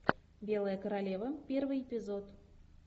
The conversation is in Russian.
белая королева первый эпизод